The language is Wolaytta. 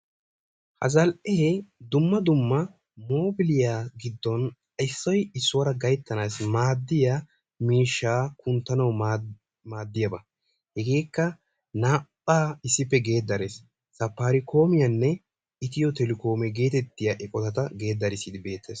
a zal"ee dumma dumma mobiliyaa giiddon issoy issuwaara gayttassi maaddiyaa miishshaa kunttanaw maddiyaaba. hegeekka naa"a issippe geeddarees. safarikoomiyanne ethiyoo telekoome geteetiyaa eqqottata geedarissidi beettees.